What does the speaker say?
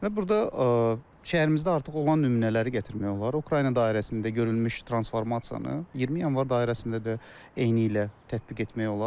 Və burda şəhərimizdə artıq olan nümunələri gətirmək olar, Ukrayna dairəsində görülmüş transformasiyanı, 20 Yanvar dairəsində də eynilə tətbiq etmək olar.